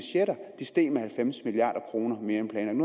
de steg med halvfems milliard kroner mere end